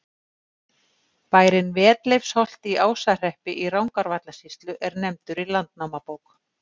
Bærinn Vetleifsholt í Ásahreppi í Rangárvallasýslu er nefndur í Landnámabók.